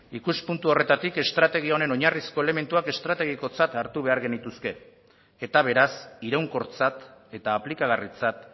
ikuspuntu horretatik estrategia honen oinarrizko elementuak estrategikotzat hartu behar genituzke eta beraz iraunkortzat eta aplikagarritzat